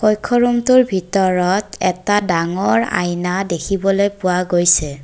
কক্ষ ৰূমটোৰ ভিতৰত এটা ডাঙৰ আইনা দেখিবলৈ পোৱা গৈছে।